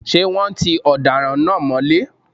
Ṣé wọ́́n ti ọ̀daràn náà mọ́lé?